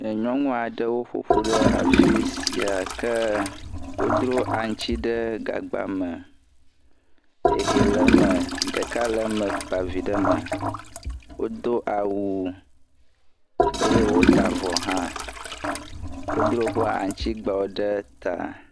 Nyɔnu aɖewo ƒoƒu ɖe afi sia ke wodro aŋuti ɖe gagba me, ehe le eme ɖeka le eme kpa vi ɖe eme wodo awu eye wota avɔ hã, wodro woƒe aŋutigbawo ɖe ta.